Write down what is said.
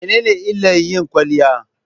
Mene ne illar yin kwaliya?